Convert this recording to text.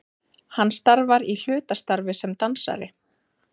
Hann starfar í hlutastarfi sem dansari